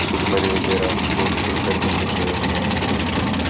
सुपारी वगैरा बहुत सुंदर मिल रहे है यह दूकान पे --